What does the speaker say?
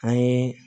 An ye